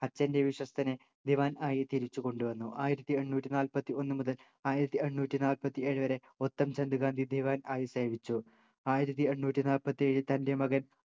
അച്ഛൻ്റെ വിശ്വസ്തനെ ദിവാൻ ആയി തിരിച്ചു കൊണ്ടു വന്നു ആയിരത്തി എണ്ണൂറ്റി നാല്പത്തി ഒന്നുമുതൽ ആയിരത്തി എണ്ണൂറ്റി നാല്പത്തിഏഴു വരെ ഉത്തംചന്ദ് ഗാന്ധി ദിവാൻ ആയി സേവിച്ചു ആയിരത്തി എണ്ണൂറ്റി നാല്പത്തി ഏഴിൽ തൻ്റെ മകൻ